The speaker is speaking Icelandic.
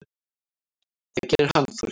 Það gerir hann Þorgeir.